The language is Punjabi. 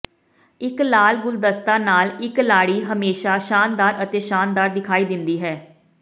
ਇੱਕ ਲਾਲ ਗੁਲਦਸਤਾ ਨਾਲ ਇੱਕ ਲਾੜੀ ਹਮੇਸ਼ਾਂ ਸ਼ਾਨਦਾਰ ਅਤੇ ਸ਼ਾਨਦਾਰ ਦਿਖਾਈ ਦਿੰਦੀ ਹੈ